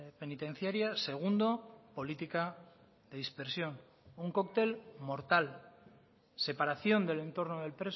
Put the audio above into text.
penitenciaria segundo política de dispersión un coctel mortal separación del entorno del